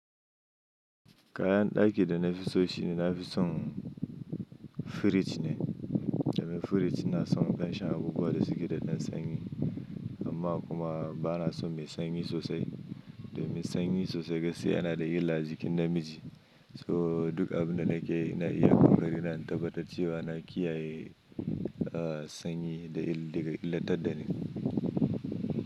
Kayan ɗaki da na fi so shi ne, na fi son firij ne. Domin firij ina son in ɗan sha abubuwa da suke da ɗan sanyi. Amma kuma ba na son mai sanyi sosai. Domin sanyi sosai gaskiya yana da illa a jikin namiji. So duk abin da nake iya kuma ina tabbatar da cewa na kiyaye sanyi da illar da ni.